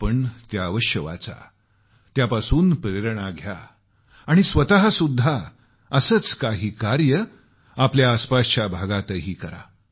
आपण त्या जरूर वाचा प्रेरणा घ्या आणि स्वतःही असेच काही कार्य आपल्या आसपासच्या भागातही करा